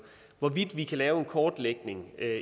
hvorvidt vi kan lave en kortlægning